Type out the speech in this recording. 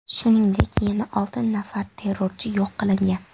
Shuningdek, yana olti nafar terrorchi yo‘q qilingan.